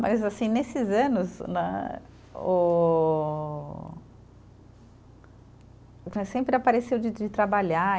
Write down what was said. Mas, assim, nesses anos né o, sempre apareceu de de trabalhar.